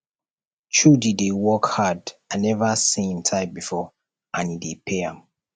chudi dey work hard i never see im type before and e dey pay am